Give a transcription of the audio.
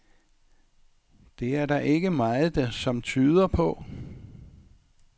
Det er der ikke meget, som tyder på.